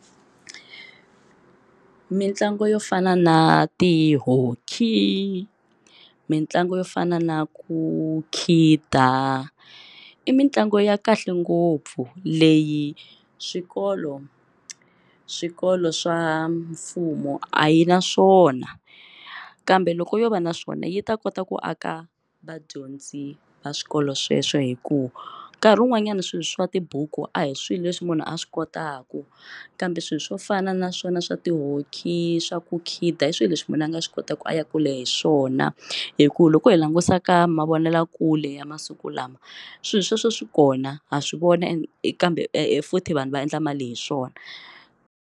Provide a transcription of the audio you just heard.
Mintlangu yo fana na ti-hockey mitlangu yo fana na ku khida i mitlangu ya kahle ngopfu leyi swikolo swikolo swa mfumo a yi na swona kambe loko yo va na swona yi ta kota ku aka vadyondzi va swikolo sweswo hikuva nkarhi wun'wanyana swilo swa tibuku a hi swilo leswi munhu a swi kotaka na kambe swilo swo fana naswona swa ti-hockey swa kukhida hi swilo leswi munhu a nga swi kota ku a ya kula hi swona hikuva loko hi langutisa ka mavonelakule ya masiku lama swilo sweswo swi kona ha swi voni kambe futhi vanhu va endla mali hi swona.